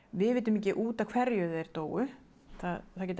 við vitum ekki út af hverju þeir dóu það geta